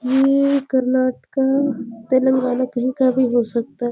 ये कर्नाटका तेलंगाना कही का भी सकता है ।